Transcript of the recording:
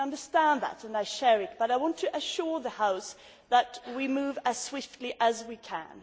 I can understand that and I share it, but I want to assure the House that we move as swiftly as we can.